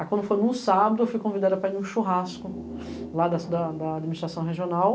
Aí quando foi num sábado, eu fui convidada para ir num churrasco lá da administração regional.